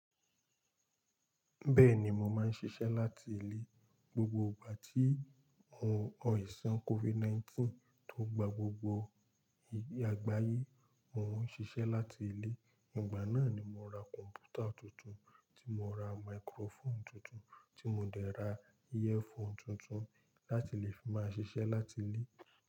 Bẹ́ẹ̀ni mo máa ń ṣiṣẹ́ láti ilé. Gbogbo ìgbà tí mò aìṣàn COVID-19 tó gba gbogbo àgbáyé, mò ń ṣiṣẹ́ láti ilé. Ìgbà náà ni mo ra kọ̀m̀pútà tuntun tí mo ra máíkírófọ̀n tuntun tí mo dẹ̀ ra earphone tuntun láti lè fi máa ṣiṣẹ́ láti ilé.